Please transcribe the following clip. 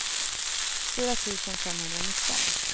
fyra tusen femhundranitton